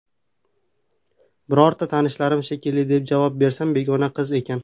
Birorta tanishlarim shekilli, deb javob bersam, begona qiz ekan.